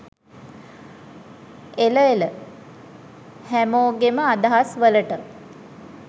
එල එල හැමෝගෙම අදහස් වලට